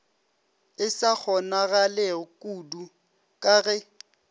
e sa kgonagalekudu ka ge